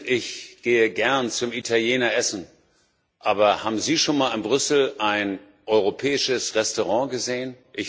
Ich gehe gerne zum Italiener essen, aber haben Sie schon mal in Brüssel ein europäisches Restaurant gesehen?